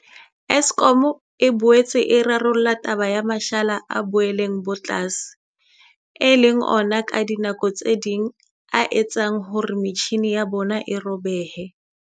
Eskom e boetse e rarolla taba ya mashala a boleng bo tlase, e leng ona ka dinako tse ding a etsang hore metjhini ya bona e robehe.